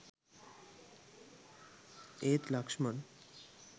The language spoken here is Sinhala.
ඒත් ලක්ෂ්මන්